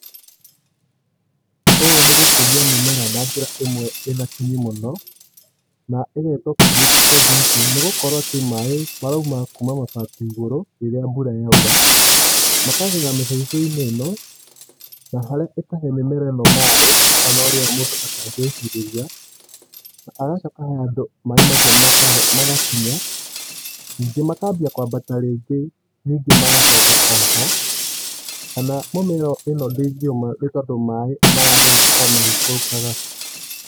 Ũũ nĩgũkũria mĩmera na njĩra ĩmwe ĩna kinyi mũno. Na ĩgetwo critical thinking, nĩgũkorwo atĩ maĩ marauma kuuma mabati igũrũ rĩrĩa mbura yaura makagera mĩbaibũ-inĩ ĩno na harĩa ĩkahe mĩmera ĩno maĩ onaũria mũndũ atangĩcirĩria na hagacoka he handũ maĩ macio magakinya nyingĩ makajia kwambata rĩngĩ nyingĩ magacoka oho, kana mĩmera ĩno ndĩngĩũma nĩũndũ maĩ maragera o magĩikũrũkaga.